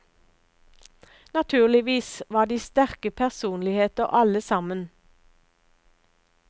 Naturligvis var de sterke personligheter, alle sammen.